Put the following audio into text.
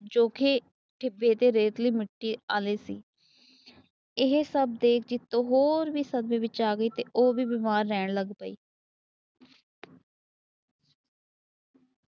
ਜੋ ਕੀ ਢਿੱਬੇ ਦੀ ਰੇਤਲੀ ਮਿੱਟੀ ਵਾਲੇ ਸੀ। ਇਹ ਸਭ ਦੇਖ ਕੇ ਜੀਤੋ ਹੋਰ ਵੀ ਸਦਮੇ ਵਿੱਚ ਆ ਗਈ। ਤੇ ਉਹ ਵੀ ਬਿਮਾਰ ਰਹਿਣ ਲੱਗ ਪਈ।